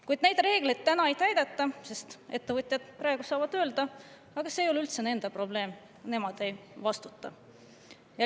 Kuid neid reegleid praegu ei täideta, ettevõtjad saavad öelda, et see ei ole üldse nende probleem, nemad ei vastuta.